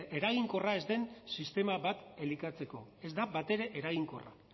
eraginkorra ez den sistema bat elikatzeko ez da batere eraginkorra